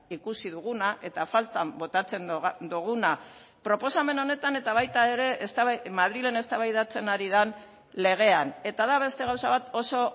ikusi duguna eta faltan botatzen duguna proposamen honetan eta baita ere madrilen eztabaidatzen ari den legean eta da beste gauza bat oso